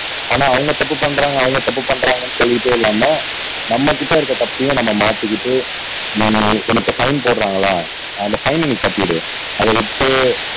ஆனா அவங்க தப்பு பண்றாங்க அவங்க தப்பு பண்றாங்கன்னு சொல்லிட்டே இல்லாம நம்மகிட்ட இருக்க தப்பையும் நம்ம மாத்திகிட்டு நம்மளால இன்னொருத்தர் ஃபைன் போடுறாங்களா அந்த ஃபைன நீ கட்டிரு அத வச்சே